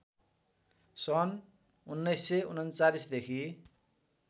सन् १९३९ देखि